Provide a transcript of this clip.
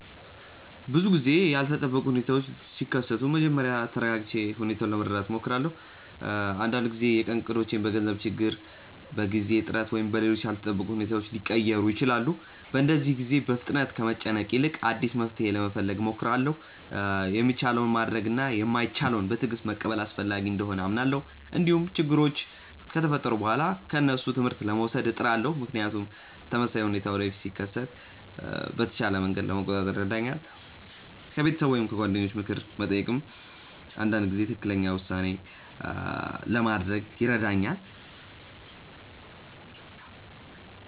ብዙ ጊዜ ያልተጠበቁ ሁኔታዎች ሲከሰቱ መጀመሪያ ተረጋግቼ ሁኔታውን ለመረዳት እሞክራለሁ። አንዳንድ ጊዜ የቀን እቅዶች በገንዘብ ችግር፣ በጊዜ እጥረት ወይም በሌሎች ያልተጠበቁ ሁኔታዎች ሊቀየሩ ይችላሉ። በእንደዚህ ጊዜ በፍጥነት ከመጨነቅ ይልቅ አዲስ መፍትሔ ለመፈለግ እሞክራለሁ። የሚቻለውን ማድረግ እና የማይቻለውን በትዕግስት መቀበል አስፈላጊ እንደሆነ አምናለሁ። እንዲሁም ችግሮች ከተፈጠሩ በኋላ ከእነሱ ትምህርት ለመውሰድ እጥራለሁ፣ ምክንያቱም ተመሳሳይ ሁኔታ ወደፊት ሲከሰት በተሻለ መንገድ ለመቆጣጠር ይረዳኛል። ከቤተሰብ ወይም ከጓደኞች ምክር መጠየቅም አንዳንድ ጊዜ ትክክለኛ ውሳኔ ለማድረግ ይረዳኛል።